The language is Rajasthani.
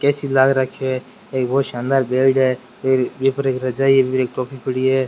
ऐ.सी लाग रखे है एक बहुत शानदार बेड है बि पर एक रजाई बि पर एक टोपी पड़ी है।